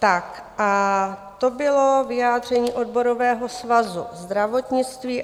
Tak a to bylo vyjádření Odborového svazu zdravotnictví.